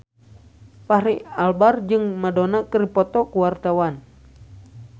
Fachri Albar jeung Madonna keur dipoto ku wartawan